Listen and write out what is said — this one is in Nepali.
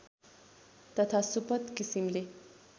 तथा सुपथ किसिमले